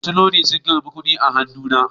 Masu lodi sun karba kudi a hannuna